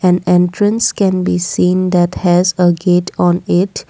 an entrance can be seen that has a gate on it.